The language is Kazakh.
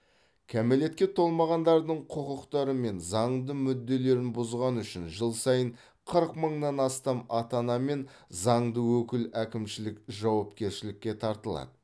кәмелетке толмағандардың құқықтары мен заңды мүдделерін бұзғаны үшін жыл сайын қырық мыңнан астам ата ана мен заңды өкіл әкімшілік жауапкершілікке тартылады